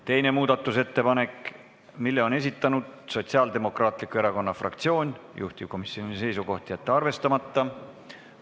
Teise muudatusettepaneku on esitanud Sotsiaaldemokraatliku Erakonna fraktsioon, juhtivkomisjoni seisukoht: jätta see arvestamata.